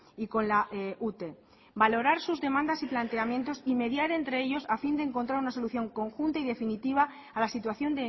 y con la ute valorar sus demandas y planteamientos y mediar entre ellos a fin de encontrar una solución conjunta y definitiva a la situación